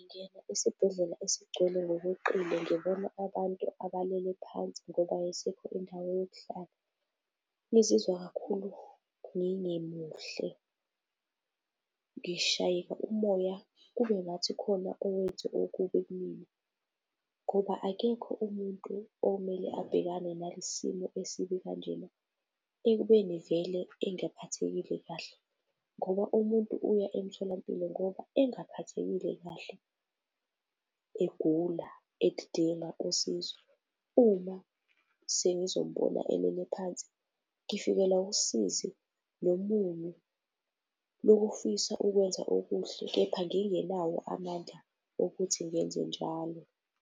esibhedlela esigcwele ngokweqile ngibona abantu abalele phansi ngoba ayisekho indawo yokuhlala, ngizizwa kakhulu ngingekho muhle, ngishayeka umoya kube ngathi khona owenze okubi kumina. Ngoba akekho umuntu omele abhekane nale simo esibi kanjena ekubeni vele engaphathekile kahle. Ngoba umuntu uya emtholampilo ngoba engaphathekile kahle, egula, edinga usizo. Uma sengizombona elele phansi ngifikelwa usizi nomunyu lokufisa ukwenza okuhle kepha ngingenawo amandla okuthi ngenze njalo.